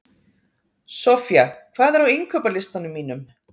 Soffía, hvað er á innkaupalistanum mínum?